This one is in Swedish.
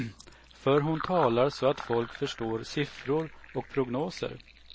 För hon talar så att folk förstår siffror och prognoser.